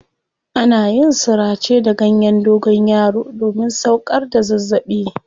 Ana yin surace da ganyen dogonyaro domin sauƙar da zazzaɓi.